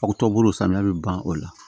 Aw tɔ bolo samiya bɛ ban o la